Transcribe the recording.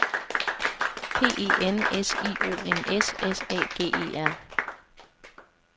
P E N S I O N S S A G E R